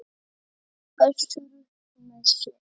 Össur upp með sér.